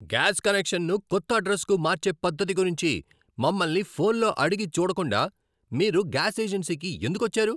Gas కనెక్షన్ను కొత్త అడ్రస్కు మార్చే పద్ధతి గురించి మమ్మల్ని ఫోన్లో అడగి చూడకుండా మీరు గ్యాస్ ఏజెన్సీకి ఎందుకొచ్చారు?